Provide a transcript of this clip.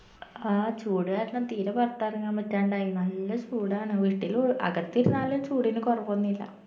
ആ ചൂട് കാരണം തീര പൊറത്തെറങ്ങാൻ പറ്റാണ്ടായി നല്ല ചൂടാണ് വീട്ടിലു അകത്തിരുന്നാലു ചൂടിന് കൊറവൊന്നില്ല